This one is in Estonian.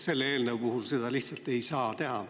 Selle eelnõu puhul seda lihtsalt ei saa teha.